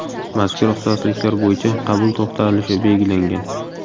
Mazkur ixtisosliklar bo‘yicha qabul to‘xtalishi belgilangan.